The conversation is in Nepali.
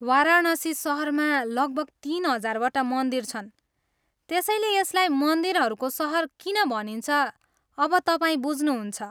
वाराणसी सहरमा लगभग तिन हजारवटा मन्दिर छन्, त्यसैले यसलाई मन्दिरहरूको सहर किन भनिन्छ, अब तपाईँ बुझ्नुहुन्छ।